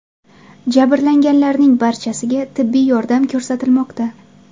Jabrlanganlarning barchasiga tibbiy yordam ko‘rsatilmoqda.